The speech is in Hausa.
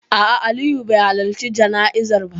A'a, Aliyu bai halarci jana'izar ba.